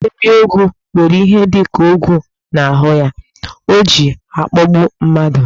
Ebiogwu were ihe dika ogwu n'ahụ ya, oji akpọgbu mmadụ.